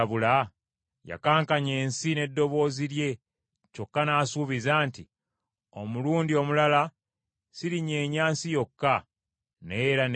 Yakankanya ensi n’eddoboozi lye kyokka n’asuubiza nti, “Omulundi omulala sirinyeenya nsi yokka, naye era n’eggulu.”